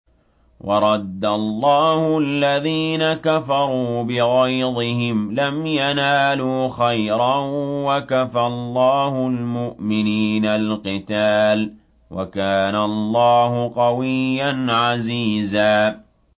وَرَدَّ اللَّهُ الَّذِينَ كَفَرُوا بِغَيْظِهِمْ لَمْ يَنَالُوا خَيْرًا ۚ وَكَفَى اللَّهُ الْمُؤْمِنِينَ الْقِتَالَ ۚ وَكَانَ اللَّهُ قَوِيًّا عَزِيزًا